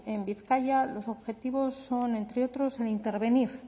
en bizkaia los objetivos son entre otros el intervenir